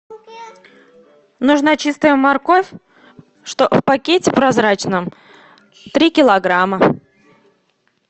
нужна чистая морковь что в пакете прозрачном три килограмма